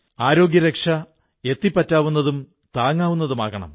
ആരോഗ്യരക്ഷ എത്തിപ്പറ്റാവുന്നതും താങ്ങാവുന്നതുമാകണം